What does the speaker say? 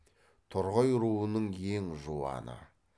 торғай руының ең жуаны